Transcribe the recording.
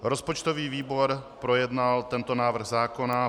Rozpočtový výbor projednal tento návrh zákona.